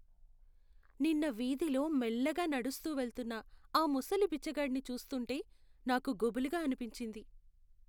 నిన్న వీధిలో మెల్లగా నడుస్తూ వెళ్తున్న ఆ ముసలి బిచ్చగాడిని చూస్తుంటే నాకు గుబులుగా అనిపించింది.